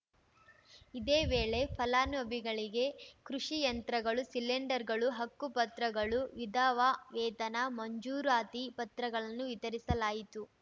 ಇದೇ ವೇಳೆ ಫಲಾನುಭವಿಗಳಿಗೆ ಕೃಷಿ ಯಂತ್ರಗಳು ಸಿಲಿಂಡರ್‌ಗಳು ಹಕ್ಕುಪತ್ರಗಳು ವಿಧವಾ ವೇತನ ಮಂಜೂರಾತಿ ಪತ್ರಗಳನ್ನು ವಿತರಿಸಲಾಯಿತು